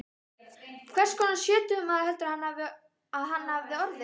Hvers konar sjötugur maður heldurðu að hann hefði orðið?